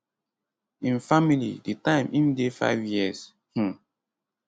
im family di time im dey 5 years um